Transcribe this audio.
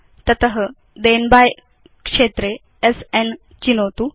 तत थेन बाय क्षेत्रे स्न चिनोतु